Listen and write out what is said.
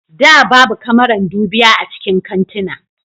Da babu kamaran dubiya a cikin kantuna